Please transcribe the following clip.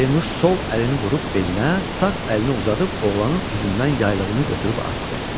Pərinuş sol əlini vurub belinə, sağ əlini uzadıb oğlanın üzündən yaylığını götürüb atdı.